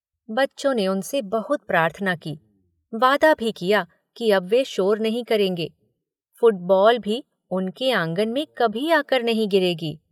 बच्चों ने उनसे बहुत प्रार्थना की, वादा भी किया कि अब वे शोर नहीं करेंगे, फुटबॉल भी उनके आंगन में कभी आकर नहीं गिरेगी।